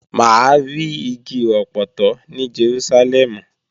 Mà á ri igi ọpọtọ ní Jerúsálẹ́mù